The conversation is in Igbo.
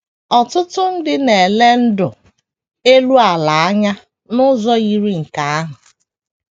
Ọtụtụ ndị na - ele ndụ elu ala anya n’ụzọ yiri nke ahụ.